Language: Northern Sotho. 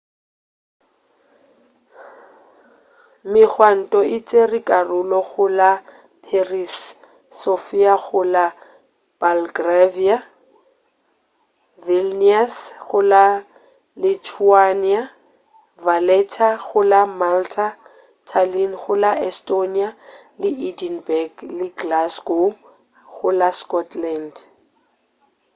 megwanto e tšere karolo go la paris sofia go la bulgaria vilnius go la lithuania valetta go la malta tallin go la estonia le edinburg le glasgow go la scotland